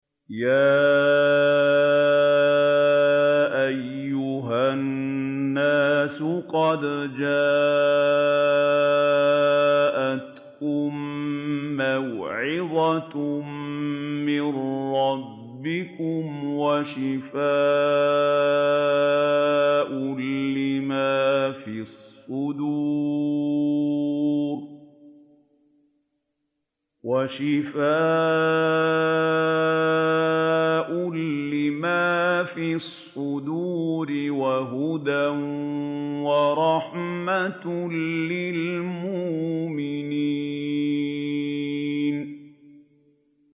يَا أَيُّهَا النَّاسُ قَدْ جَاءَتْكُم مَّوْعِظَةٌ مِّن رَّبِّكُمْ وَشِفَاءٌ لِّمَا فِي الصُّدُورِ وَهُدًى وَرَحْمَةٌ لِّلْمُؤْمِنِينَ